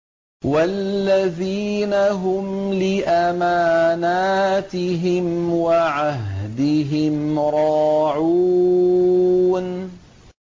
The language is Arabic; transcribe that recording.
وَالَّذِينَ هُمْ لِأَمَانَاتِهِمْ وَعَهْدِهِمْ رَاعُونَ